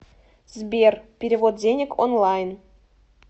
сбер перевод денег онлайн